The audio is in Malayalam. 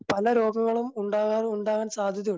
പല രോഗങ്ങളും ഉണ്ടാകാൻ ഉണ്ടാവാൻ സാധ്യതയുണ്ട്.